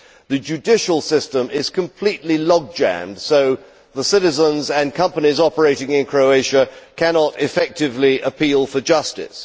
The judicial system is completely log jammed, so the citizens and companies operating in Croatia cannot effectively appeal for justice.